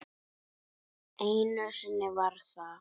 Einu sinni var það